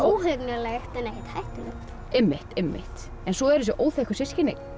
óhugnanlegt en ekkert hættulegt einmitt einmitt svo eru þessi óþekku systkini